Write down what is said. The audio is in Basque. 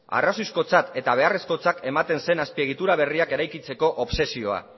arrazoizkotzat eta beharrezkotzat ematen zen azpiegitura berriak eraikitzeko obsesioa